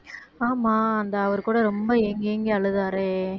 ஆமா அந்த அவரு கூட ரொம்ப ஏங்கி ஏங்கி அழுதாரே